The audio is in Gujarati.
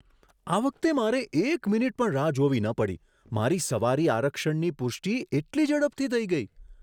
આ વખતે મારે એક મિનિટ પણ રાહ જોવી ન પડી. મારી સવારી આરક્ષણની પુષ્ટિ એટલી ઝડપથી થઈ ગઈ!